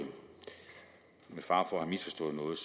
med fare for at have misforstået